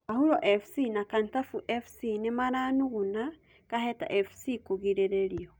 Kahuro Fc na Kantafu Fc nĩmaranuguna Kaheta Fc kũgirĩrĩrio